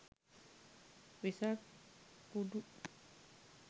wesak kudu